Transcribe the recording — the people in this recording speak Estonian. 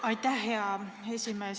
Aitäh, hea esimees!